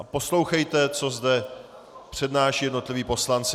A poslouchejte, co zde přednášejí jednotliví poslanci.